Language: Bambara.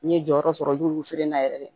N'i ye jɔyɔrɔ sɔrɔ i b'olu feere n'a yɛrɛ ye